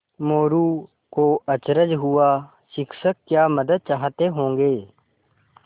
मोरू को अचरज हुआ शिक्षक क्या मदद चाहते होंगे